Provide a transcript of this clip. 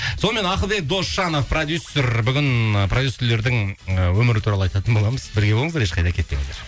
сонымен ақылбек досжанов продюссер бүгін продюссерлердің ы өмірі туралы айтатын боламыз бірге болыңыздар ешқайда кетпеңіздер